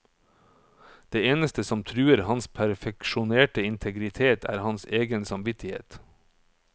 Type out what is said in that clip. Det eneste som truer hans perfeksjonerte integritet er hans egen samvittighet.